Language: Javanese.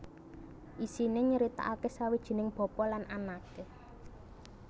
Isiné nyritakaké sawijining bapa lan anaké